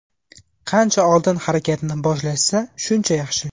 Qancha oldin harakatni boshlashsa shuncha yaxshi.